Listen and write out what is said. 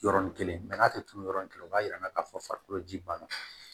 Yɔrɔnin kelen n'a tɛ turu yɔrɔ nin kelen o b'a yira an na k'a fɔ farikolo ji banna